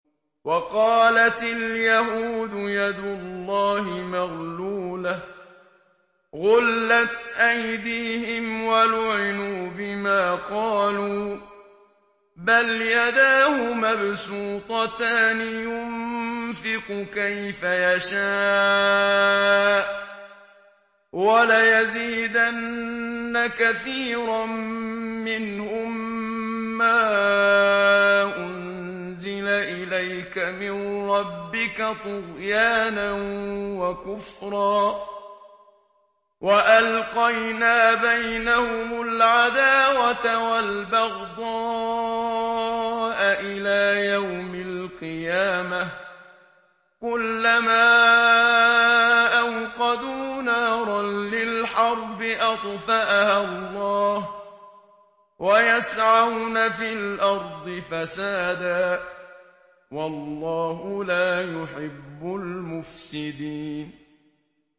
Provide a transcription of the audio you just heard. وَقَالَتِ الْيَهُودُ يَدُ اللَّهِ مَغْلُولَةٌ ۚ غُلَّتْ أَيْدِيهِمْ وَلُعِنُوا بِمَا قَالُوا ۘ بَلْ يَدَاهُ مَبْسُوطَتَانِ يُنفِقُ كَيْفَ يَشَاءُ ۚ وَلَيَزِيدَنَّ كَثِيرًا مِّنْهُم مَّا أُنزِلَ إِلَيْكَ مِن رَّبِّكَ طُغْيَانًا وَكُفْرًا ۚ وَأَلْقَيْنَا بَيْنَهُمُ الْعَدَاوَةَ وَالْبَغْضَاءَ إِلَىٰ يَوْمِ الْقِيَامَةِ ۚ كُلَّمَا أَوْقَدُوا نَارًا لِّلْحَرْبِ أَطْفَأَهَا اللَّهُ ۚ وَيَسْعَوْنَ فِي الْأَرْضِ فَسَادًا ۚ وَاللَّهُ لَا يُحِبُّ الْمُفْسِدِينَ